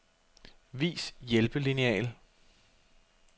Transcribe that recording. Vis hjælpelineal.